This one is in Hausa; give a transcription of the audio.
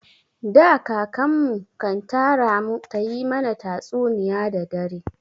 Da, kakan mu kan tara mu ta yi mana tatsuniya da dare.